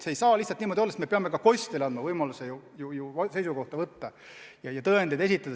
See ei saa lihtsalt niimoodi olla, sest me peame ka kostjale andma võimaluse oma seisukoht öelda ja tõendeid esitada.